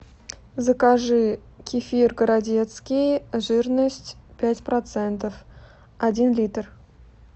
закажи кефир городецкий жирность пять процентов один литр